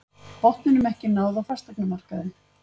Botninum ekki náð á fasteignamarkaði